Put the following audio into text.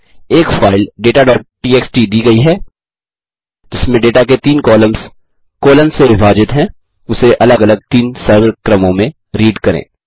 एक फाइल dataटीएक्सटी दी गयी है जिसमें डेटा के तीन कॉलम्स से विभाजित हैं उसे अलग अलग 3 सरल कर्मों में रीड करें